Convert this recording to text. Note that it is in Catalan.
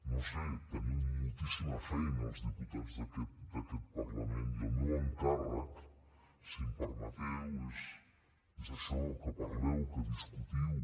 no ho sé teniu moltíssima feina els diputats d’aquest parlament i el meu encàrrec si em permeteu és això que parleu que discutiu